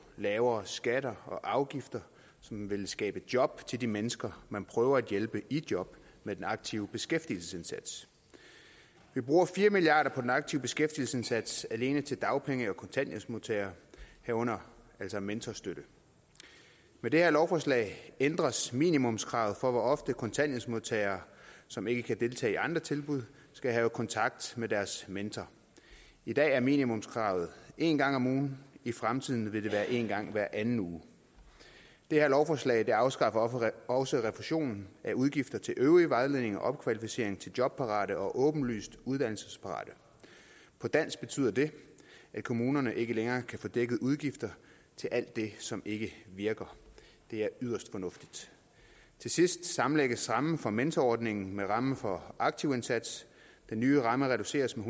lavere skatter og afgifter som ville skabe job til de mennesker man prøver at hjælpe i job med den aktive beskæftigelsesindsats vi bruger fire milliard kroner på den aktive beskæftigelsesindsats alene til dagpenge og kontanthjælpsmodtagere herunder altså mentorstøtte med det her lovforslag ændres minimumskravet for hvor ofte kontanthjælpsmodtagere som ikke kan deltage i andre tilbud skal have kontakt med deres mentor i dag er minimumskravet en gang om ugen i fremtiden vil det være en gang hver anden uge det her lovforslag afskaffer også refusionen af udgifter til øvrig vejledning og opkvalificering til jobparate og åbenlyst uddannelsesparate på dansk betyder det at kommunerne ikke længere kan få dækket udgifter til alt det som ikke virker det er yderst fornuftigt til sidst sammenlægges rammen for mentorordningen med rammen for aktivindsatsen den nye ramme reduceres med